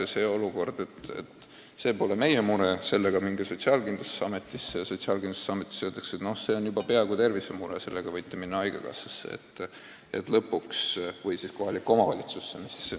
Ei tohi olla olukord, kus saab öelda, et see pole meie mure, sellega minge Sotsiaalkindlustusametisse, aga Sotsiaalkindlustusametis öeldakse, et see on pooleldi tervisemure, sellega minge haigekassasse või siis kohalikku omavalitsusse.